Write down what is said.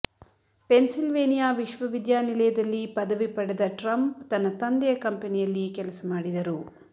Pennsylvania ವಿಶ್ವವಿದ್ಯಾನಿಲಯದಲ್ಲಿ ಪದವಿ ಪಡೆದ ಟ್ರಂಪ್ ತನ್ನ ತಂದೆಯ ಕಂಪೆನಿಯಲ್ಲಿ ಕೆಲಸ ಮಾಡಿದರು